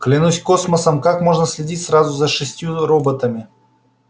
клянусь космосом как можно следить сразу за шестью роботами